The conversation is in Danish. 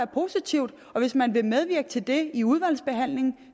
positivt hvis man vil medvirke til det i udvalgsbehandlingen